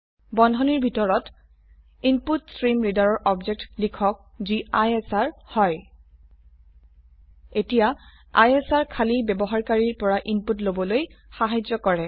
বন্ধনীৰ ভিতৰত ইনপুটষ্ট্ৰীমৰিডাৰ ৰ অবজেক্ট লিখক যি আইএছআৰ হয় এতিয়া আইএছআৰ খালী ব্যবহাৰকাৰীৰ পৰা ইনপুট লবলৈ সাহায্য কৰে